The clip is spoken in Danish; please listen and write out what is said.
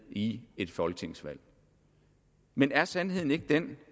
i et folketingsvalg men er sandheden ikke den